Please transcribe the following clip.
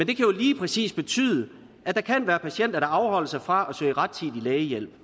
kan jo lige præcis betyde at der kan være patienter der afholder sig fra at søge rettidig lægehjælp